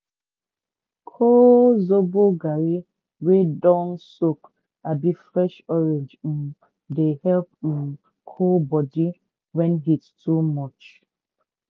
col zobo garri wey don soak abi fresh orange um dey help um cool body when heat too much.